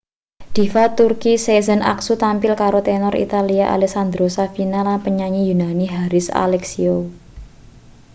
diva turki sezen aksu tampil karo tenor italia alessandro safina lan penyanyi yunani haris alexiou